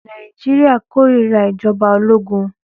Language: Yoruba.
Nàìjíríà kórira ìjọba ológun.